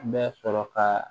Bɛ sɔrɔ ka